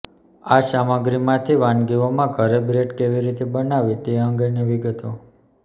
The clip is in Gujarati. આ સામગ્રીમાંથી વાનગીઓમાં ઘરે બ્રેડ કેવી રીતે બનાવવી તે અંગેની વિગતો